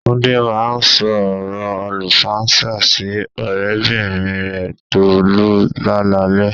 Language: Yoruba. Túndé máa ń sọ ọrọ àlùfàǹsá sí ọ̀rẹ́bìnrin rẹ Tolú lálaalẹ́